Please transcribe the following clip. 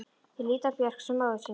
Þeir líta á Björk sem móður sína.